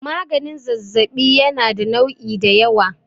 maganin zazzabi yana da nu'i da yawa